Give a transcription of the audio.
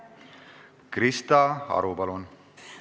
Krista Aru, palun!